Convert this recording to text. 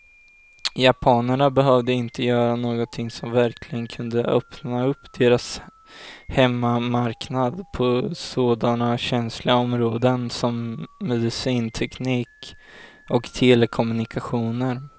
Japanerna behövde inte göra någonting som verkligen kunde öppna upp deras hemmamarknad på sådana känsliga områden som medicinteknik och telekommunikationer.